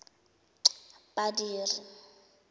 badiri